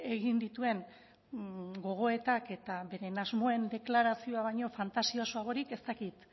egin dituen gogoetak eta beren asmoen deklarazioa baino fantasiosoagorik ez dakit